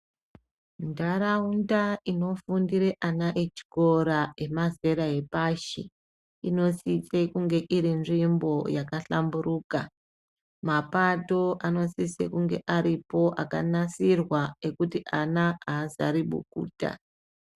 Ndarunda ino fundire ana echikora ema zera epashi ino sise kunge iri nzvimbo yaka hlamburuka mapato ano sise kunge aripo aka nasirwa ekuti ana azari bukuta.